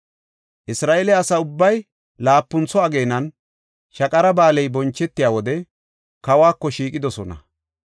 Isra7eele asa ubbay laapuntho ageenan, Shaqara Ba7aaley bonchetiya wode kawako shiiqidosona.